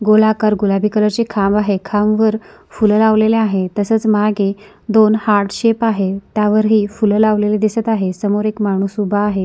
गोलाकार गुलाबी कलर चे खांब आहे खांबवर फूल लावलेली आहे तसेच मागे दोन हार्ट शेप आहे त्यावर ही फूल लावलेली दिसत आहे समोर एक माणूस उभा आहे.